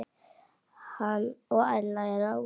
Hann og Ella eru ágæt.